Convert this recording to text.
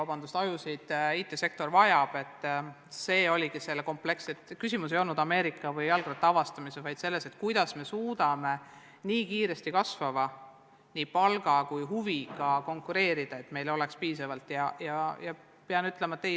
Küsimus ei ole Ameerika avastamises või jalgratta leiutamises, vaid selles, kuidas me suudame nii kiiresti kasvava palga ja huviga IT-sektoris konkureerida, et meil oleks piisavalt selle õpetajaid.